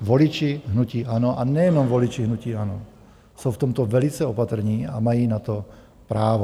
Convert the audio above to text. voliči hnutí ANO, a nejenom voliči hnutí ANO, jsou v tomto velice opatrní a mají na to právo.